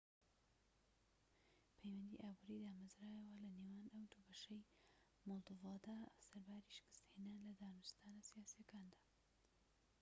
پەیوەندیی ئابوریی دامەزرایەوە لەنێوان ئەو دووبەشەی مۆلدۆڤادا سەرباری شکستهێنان لە دانوستانە سیاسییەکاندا